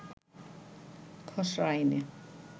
খসড়া আইনে